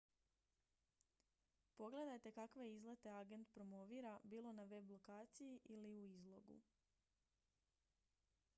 pogledajte kakve izlete agent promovira bilo na web-lokaciji ili u izlogu